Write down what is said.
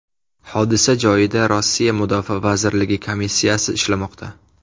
Hodisa joyida Rossiya mudofaa vazirligi komissiyasi ishlamoqda.